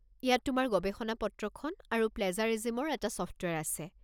ইয়াত তোমাৰ গৱেষণা-পত্ৰখন আৰু প্লেজাৰিজিমৰ এটা ছফ্টৱেৰ আছে।